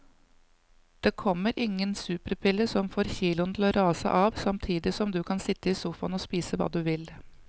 Det kommer ingen superpille som får kiloene til å rase av samtidig som du kan sitte i sofaen og spise hva du vil.